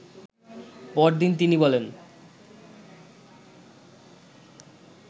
পরদিন তিনি বলেন